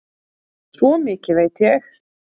Svo mikið veit ég.